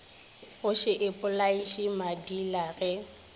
go še ipolaiše madila ge